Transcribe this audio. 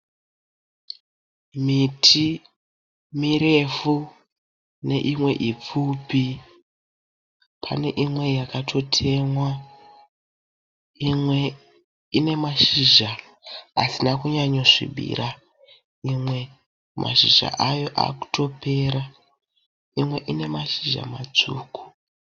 Miti mirefu neimwe ipfupi. Pane imwe yakatotemwa, imwe ine mashizha asina kunyanyo svibira, imwe mashizha ayo akutopera, imwe ine mashizha matsvuku.